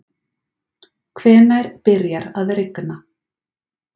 hvenær byrjar að rigna